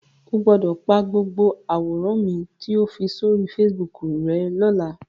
O gbọ́dọ̀ pa gbogbo àwòrán mi to fi sóri Facebook rẹ́ lọ́la.